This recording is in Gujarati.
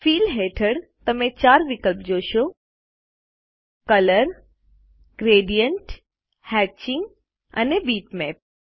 ફિલ હેઠળ તમે 4 વિકલ્પો જોશો કલર્સ ગ્રેડિયન્ટ હેચિંગ અને બિટમેપ